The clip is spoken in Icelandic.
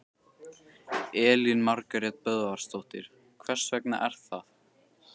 Elín Margrét Böðvarsdóttir: Hvers vegna er það?